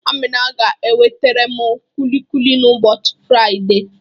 Amina ga-ewetaram kulikuli n'ụbọchị Faịde